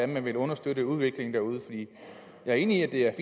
man vil understøtte udviklingen derude jeg er enig i at det er